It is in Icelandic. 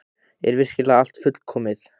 Er virkilega allt fullkomið?